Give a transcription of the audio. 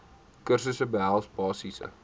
kursusse behels basiese